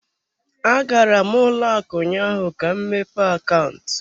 Agara m ụlọ akụ ụnyaahụ ka m mepee akaụntụ.